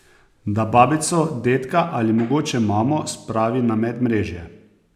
Da babico, dedka ali mogoče mamo spravi na medmrežje!